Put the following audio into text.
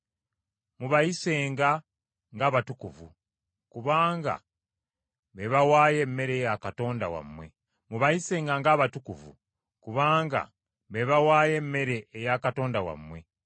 Mubayisenga ng’abatukuvu, kubanga be bawaayo emmere eya Katonda wammwe. Mubayisenga ng’abatukuvu; kubanga Nze Mukama atukuza mmwe, ndi mutukuvu.